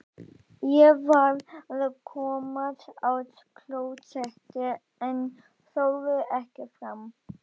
Ég varð að komast á klósettið en þorði ekki fram.